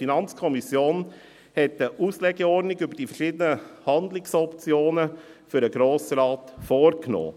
Die FiKo hat eine Auslegeordnung über die verschiedenen Handlungsoptionen für den Grossen Rat vorgenommen.